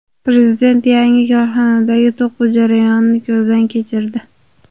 Prezident yangi korxonadagi to‘quv jarayonini ko‘zdan kechirdi.